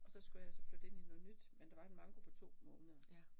Og så skulle jeg så flytte ind i noget nyt, men der var en manko på 2 måneder